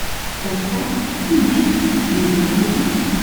поставь кинчик небесный суд